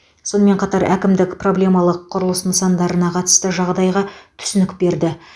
сонымен қатар әкімдік проблемалық құрылыс нысандарына қатысты жағдайға түсінік берді